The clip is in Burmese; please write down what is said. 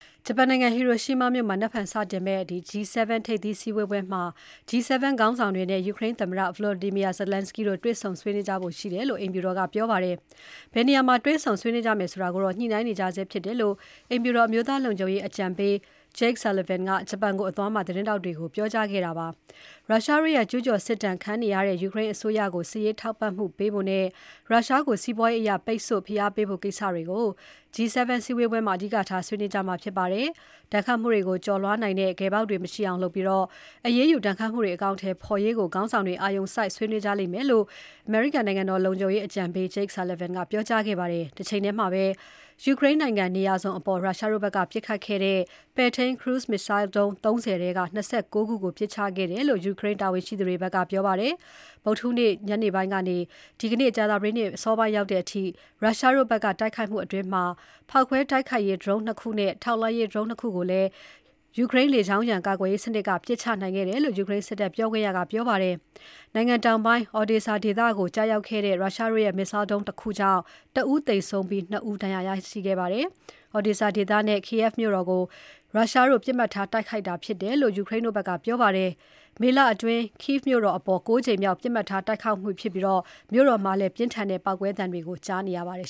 ဂျပန်နိုင်ငံ ဟီရိုရှီးမားမြို့မှာ နက်ဖြန်စတင်မယ့် G7 ထိပ်သီးစည်းဝေးပွဲမှာ G7 ခေါင်းဆောင်တွေနဲ့ ယူကရိန်းသမ္မတ Volodymyr Zelenskyy တို့ တွေ့ဆုံဆွေးနွေးကြဖို့ရှိတယ်လို့ အိမ်ဖြူတော်က ပြောပါတယ်။ ဘယ်နေရာမှာ တွေ့ဆုံဆွေးနွေးကြမယ်ဆိုတာကိုတော့ ညှိနှိုင်းနေကြဆဲဖြစ်တယ်လို့ အိမ်ဖြူတော် အမျိုးသားလုံခြုံရေး အကြံပေး Jake Sullivan က ဂျပန်ကို အသွားမှာ သတင်းထောက်တွေကို ပြောပါတယ်။ ရုရှားတို့ရဲ့ ကျူးကျော်စစ်ဒဏ် ခံနေရတဲ့ ယူကရိန်းအစိုးရကို စစ်ရေးထောက်ပံ့မှုပေးဖို့နဲ့ ရုရှားကို စီးပွားရေးအရ ပိတ်ဆို့ဖိအားပေးဖို့ ကိစ္စတွေကို G7 စည်းဝေးပွဲမှာ အဓိကထား ဆွေးနွေးကြမှာဖြစ်ပါတယ်။ ဒတ်ခတ်မှုကို ကျော်လွှားနိုင်တဲ့ ဂယ်ပေါက်တွေကို မရှိအောင်လုပ်ပြီး အရေးယူဒဏ်ခတ်မှုတွေ အကောင်အထည်ဖော်ရေးကို ခေါင်းဆောင်တွေ အာရုံစိုက် ဆွေးနွေးကြလိမ့်မယ်လို့ နိုင်ငံတော်လုံခြုံရေးအကြံပေး Jake Sullivan ကပြောကြားခဲ့ပါတယ်။ တချိန်ထဲမှာပဲ ယူကရိန်းနိုင်ငံ နေရာစုံအပေါ် ရုရှားတို့ဘက်က ပစ်ခတ်ခတ်ခဲ့တဲ့ ပဲ့ထိန်း cruise missile ဒုံး ၃၀ ထဲက ၂၉ ခုကို ပစ်ချခဲ့တယ်လို့ ယူကရိန်း တာဝန်ရှိသူတွေဘက်က ပြောပါတယ်။ ဗုဒ္ဓဟူးနေ့ညနေပိုင်းကနေ ဒီနေ့ ကြာသပတေးနေ့ အစောပိုင်းအထိ ရုရှားတို့ဘက်က တိုက်ခိုက်မှုအတွင်း ဖောက်ခွဲတိုက်ခိုက်ရေးဒရုန်း ၂ ခုနဲ့ ထောက်လှမ်းရေးဒရုန်း ၂ ခုကိုလည်း ယူကရိန်း လေကြောင်းရန် ကာကွယ်ရေးစနစ်က ပစ်ချခဲ့တယ်လို့ ယူကရိန်းစစ်တပ်ပြောခွင့်ရက ပြောပါတယ်။ နိုင်ငံတောင်ပိုင်း Odesa ဒေသကို ကျရောက်ခဲ့တဲ့ ရုရှားတို့ရဲ့ Missile ဒုံးတခုကြောင့် ၁ ဦးသေဆုံးပြီး ၂ ဦးဒဏ်ရာရခဲ့ပါတယ်။ Odesa ဒေသနဲ့ Kyiv မြို့တော်ကို ရုရှားတို့ ပစ်မှတ်ထားတိုက်ခိုက်တာဖြစ်တယ်လို့ ယူကရိန်းတို့ဘက်က ပြောပါတယ်။ မေလအတွင်း Kyiv မြို့တော် အပေါ် ၉ ကြိမ်မြောက် ပြစ်မှတ်ထားတိုက်ခိုက်မှုဖြစ်ပြီး မြို့တော်မှာ ပြင်းထန်တဲ့ ပေါက်ကွဲသံတွေ ကြားနေရပါတယ်